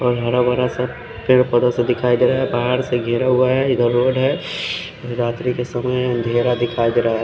और हरा भरा सा पेड़ पोधा सा दिखाई देरा है पहाड़ से गेरा गया है इधर रोड है रात्री का समय है अँधेरा दिखाई देरा है।